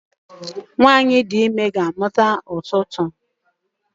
nwanyi di ime ga-amuta ututu